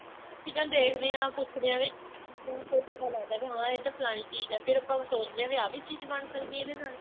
ਚੀਜ਼ਾਂ ਦੇਖਦੇ ਆ ਪੁੱਛਦੇ ਆ ਵੀ ਬਹੁਤ ਕੁੱਝ ਪਤਾ ਲੱਗਦਾ ਹਾਂ ਇਹ ਤਾਂ ਫਲਾਣੀ ਚੀਜ਼ ਏ ਫੇਰ ਆਪਾਂ ਉਹ ਸੋਚਦੇ ਆ ਵੀ ਆ ਵੀ ਚੀਜ਼ ਬਣ ਸਕਦੀ ਏ ਇਹਦੇ ਨਾਲ